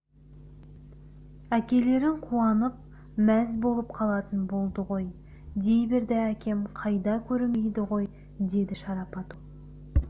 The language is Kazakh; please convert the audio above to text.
әкелерің қуанып мәз болып қалатын болды ғой дей берді әкем қайда көрінбейді ғой деді шарапат ол